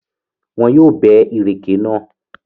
Wọn yóò bẹ́ ìrèké náà.